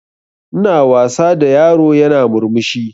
Ina wasa da yaro yana murmushi